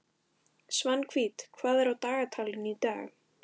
Svanhvít, hvað er á dagatalinu í dag?